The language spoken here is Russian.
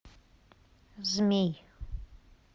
змей